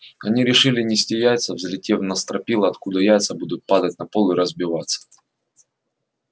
они решили нести яйца взлетев на стропила откуда яйца будут падать на пол и разбиваться